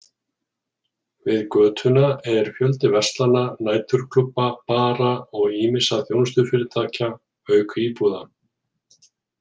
Við götuna er fjöldi verslana, næturklúbba, bara og ýmissa þjónustufyrirtækja, auk íbúða.